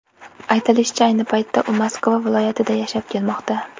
Aytilishicha, ayni paytda u Moskva viloyatida yashab kelmoqda.